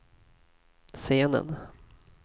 scenen